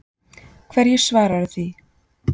Hverju svaraðu því?